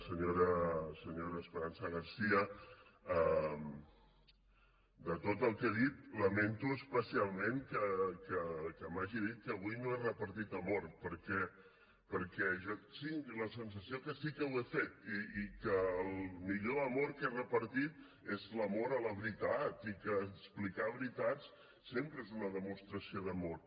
senyora esperanza garcía de tot el que ha dit lamento especialment que m’hagi dit que avui no he repartit amor perquè jo tinc la sensació que sí que ho he fet i que el millor amor que he repartit és l’amor a la veritat i que explicar veritats sempre és una demostració d’amor